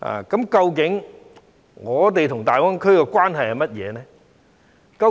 究竟我們與大灣區的關係是甚麼？